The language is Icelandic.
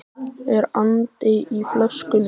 Er andi í flöskunni?